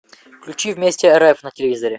включи вместе рф на телевизоре